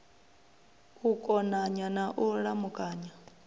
u konanya na u lamukanya